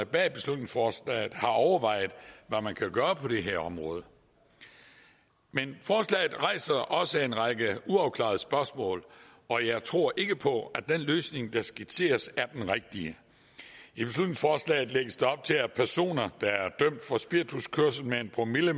bag beslutningsforslaget har overvejet hvad man kan gøre på det her område men forslaget rejser også en række uafklarede spørgsmål og jeg tror ikke på at den løsning der skitseres er den rigtige i beslutningsforslaget lægges der op til at personer der er dømt for spirituskørsel med en promille